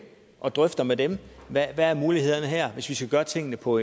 og drøfter med dem hvad mulighederne er her hvis vi skal gøre tingene på